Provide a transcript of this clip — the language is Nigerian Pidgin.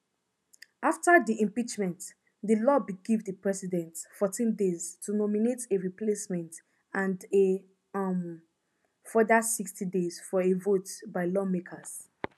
afta di impeachment di law bin give di president fourteen days to nominate a replacement and a um further sixty days for a vote by lawmakers